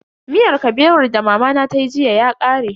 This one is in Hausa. Miyar Kabewar da mamana tayi jiya ya kare.